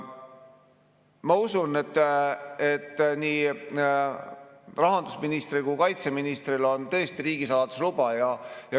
Ma usun, et nii rahandusministril kui ka kaitseministril on riigisaladuse luba.